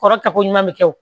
Kɔrɔ tako ɲuman bɛ kɛ o